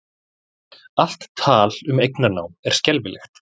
Allt tal um eignarnám er skelfilegt